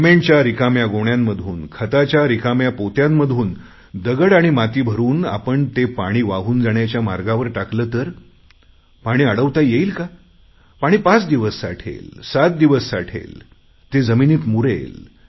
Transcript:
सिमेंटच्या रिकाम्या गोण्यांमधून खताच्या रिकाम्या पोत्यांमधून दगड आणि माती भरुन आपण ते पाणी वाहून जाण्याच्या मार्गावर टाकले तर पाणी अडवता येईल का पाणी पाच दिवस साठेल सात दिवस साठेल ते पाणी जमिनीत मुरेल